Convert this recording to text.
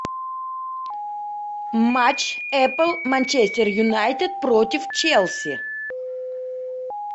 матч эпл манчестер юнайтед против челси